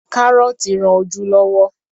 Kárọ́tí rán ojú lọ́wọ́.